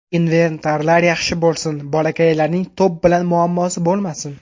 Inventarlar yaxshi bo‘lsin, bolakaylarning to‘p bilan muammosi bo‘lmasin.